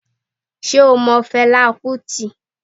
Sé o mo Felá Kútì?